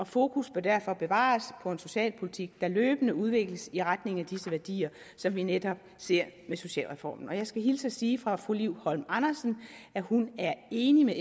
fokus bør derfor bevares på en socialpolitik der løbende udvikles i retning af disse værdier som vi netop ser med socialreformen jeg skal hilse at sige fra fru liv holm andersen at hun er enig med